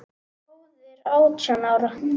Móðir átján ára?